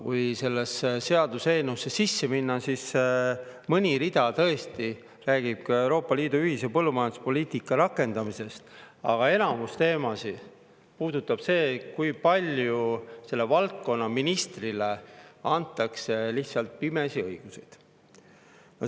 Kui sellesse seaduseelnõusse sisse minna, siis on näha, et mõni rida tõesti räägib ka Euroopa Liidu ühise põllumajanduspoliitika rakendamisest, aga enamik teemasid puudutab seda, kui palju selle valdkonna ministrile lihtsalt pimesi õiguseid antakse.